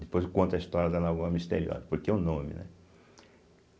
Depois eu conto a história da Lagoa Misteriosa, porque o nome, né?